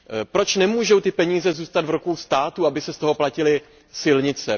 Proč nemůžou ty peníze zůstat v rukou státu, aby se z toho platily silnice?